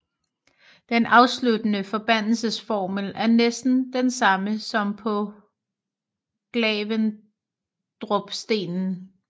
Den afsluttende forbandelsesformel er næsten den samme som på Glavendrupstenen